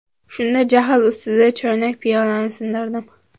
Shunda jahl ustida choynak-piyolani sindirdim.